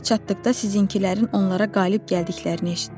Ora çatdıqda sizinkilərin onlara qalib gəldiklərini eşitdim.